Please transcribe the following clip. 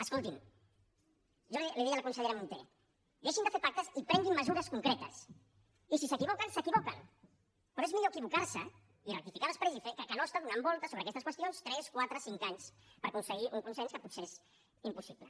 escolti’m jo li deia a la consellera munté deixin de fer pactes i prenguin mesures concretes i si s’equivoquen s’equivoquen però és millor equivocar se i rectificar després que no estar donant voltes sobre aquestes qüestions tres quatre cinc anys per aconseguir un consens que potser és impossible